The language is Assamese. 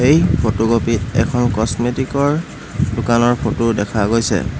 ই ফটোকপিত এখন কছমেটিকৰ দোকানৰ ফটো দেখা গৈছে।